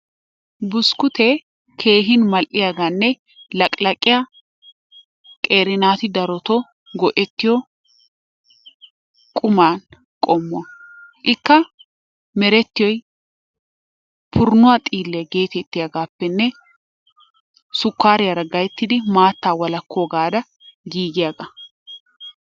Buskkutee keehin mal'iyagaanne laqilaqiya qeeri naati daroto go'ettiyo qumaa qommo. Ikka merettiyoy purunuwa xiilliya geetettiyagaappenne sukkaariyara gayittidi maattaa walakkoogaara giigiyagaa.